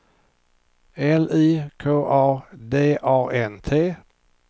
L I K A D A N T